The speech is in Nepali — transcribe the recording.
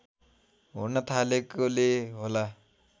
हुन थालेकोले होला